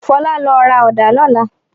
Fọlá lọ ra ọ̀dá lọ́lá!